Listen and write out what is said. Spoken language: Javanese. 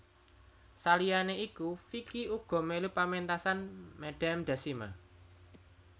Saliyané iku Vicky uga mélu pamentasan Madame Dasima